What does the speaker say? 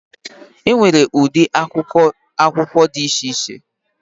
Enwere ụdị akwụkwọ akụkọ dị iche iche